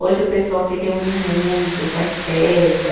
Hoje o pessoal se reúne muito, faz festa.